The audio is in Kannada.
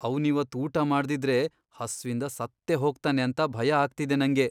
ಅವ್ನಿವತ್ ಊಟ ಮಾಡ್ದಿದ್ರೆ ಹಸ್ವಿಂದ ಸತ್ತೇ ಹೋಗ್ತಾನೆ ಅಂತ ಭಯ ಆಗ್ತಿದೆ ನಂಗೆ.